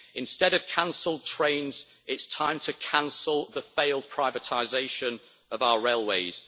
Instead of cancelled trains, it's time to cancel the failed privatisation of our railways.